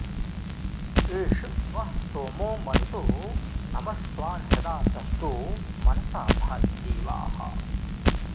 एष वः स्तोमो मरुतो नमस्वान्हृदा तष्टो मनसा धायि देवाः